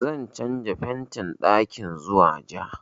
Zan canja fentin ɗakin zuwa ja